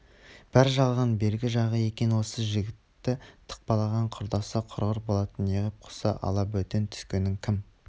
бәрі жалған бергі жағы екен осы жігітті тықпалаған құрдасы құрғыр болатын неғып құсы алабөтен түскенін кім